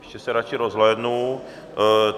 Ještě se radši rozhlédnu.